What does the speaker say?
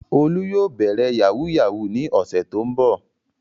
Olú yóò bẹ̀rẹ̀ yahoo yahoo ní ọ̀sẹ̀ tó ń bọ̀.